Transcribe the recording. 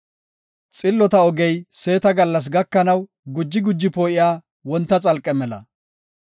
Xillota ogey seeta gallas gakanaw, guji guji poo7iya wonta xalqe mela.